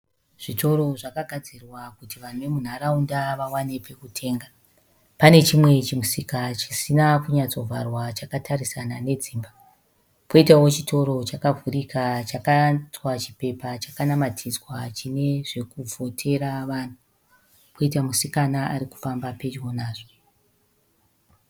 Zvitoro zvakagadzirwa kuti vanhu vemunharaunda vawane pekutenga. Pane chimwe chimusika chisina kunyatso kuvharwa chakatarisana nedzimba. Poitawo chitoro chakavhurika chakaitwa chipepa chakanamatidzwa chine zvekuvhotera vanhu. Poita musikana ari kufamba pedyo nazvo.